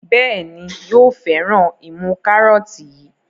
Béèni yóò féràn imú karọọti yí.